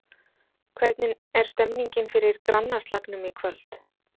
Hvernig er stemningin fyrir grannaslagnum í kvöld?